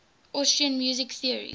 austrian music theorists